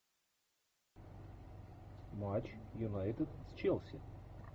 матч юнайтед с челси